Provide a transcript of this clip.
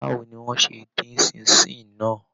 Báwo ni wọ́n ṣe dín Ṣín-in-ṣìn náà!